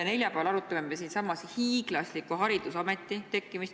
Neljapäeval arutame me siinsamas hiiglasliku Haridusameti tekkimist.